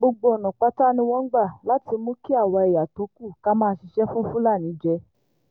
gbogbo ọ̀nà pátá ni wọ́n ń gbà láti mú kí àwa ẹ̀yà tó kù ká máa ṣiṣẹ́ fún fúlàní jẹ́